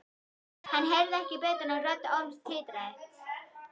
Hann heyrði ekki betur en rödd Orms titraði.